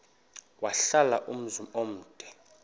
wahlala umzum omde